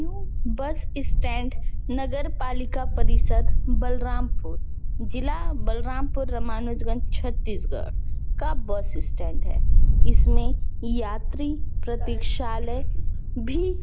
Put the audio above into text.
new bus stand नगर पालिका परिषद् बलरामपुर जिला बलरामपुर रामानुजगंज छत्तीसगढ़ का बस स्टैंड है इसमें यात्री प्रतिसाले भी--